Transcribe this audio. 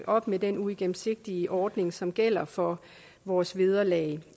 op med den uigennemsigtige ordning som gælder for vores vederlag